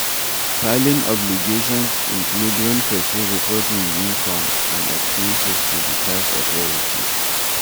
Filing obligations include when person report im income and expenses to di tax authorities